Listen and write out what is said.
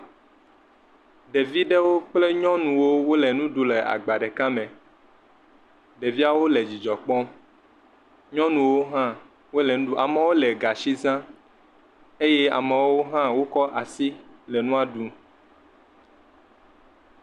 Ɖevi ɖewo kple nyɔnuwo wole nuɖum le agba ɖeka me, ɖeviawo le dzidzɔ kpɔm nyɔnuwo hã wole nu ɖum, amewo le gatsi zam eye amewo hã wokɔ asi le nua ɖum.